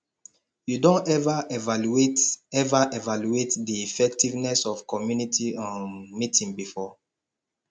you don ever evaluate ever evaluate di effectiveness of community um meeting before